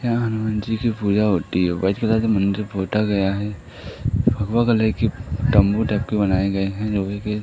यहां हनुमान जी की पूजा होती है वाइट कलर मंदिर पोता गया है भगवा कलर के तंबू बनाए गए हैं लोहे के--